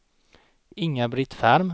Inga-Britt Ferm